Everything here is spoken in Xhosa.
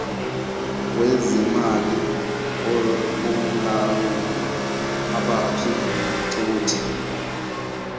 wezemali womlawuli abaphicothi